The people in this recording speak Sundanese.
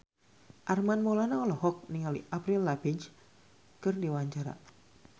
Armand Maulana olohok ningali Avril Lavigne keur diwawancara